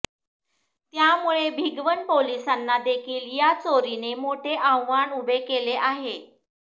त्यामुळे भिगवण पोलिसांना देखील या चोरीने मोठे आव्हान उभे केले आहे